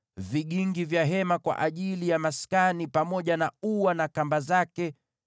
vigingi vya hema kwa ajili ya maskani pamoja na ua na kamba zake;